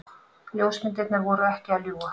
Ljósmyndirnar voru ekki að ljúga.